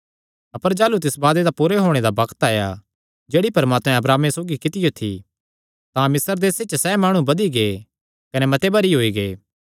अपर जाह़लू तिस वादे दा पूरा होणे दा बग्त आया जेह्ड़ी परमात्मैं अब्राहमे सौगी कित्तियो थी तां मिस्र देसे च सैह़ माणु बधी गै कने मते भरी होई गै